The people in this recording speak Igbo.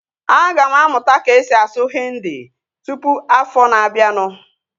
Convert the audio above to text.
Aga m amụta ka-esi asụ Hindi tụpụ afọ na abianu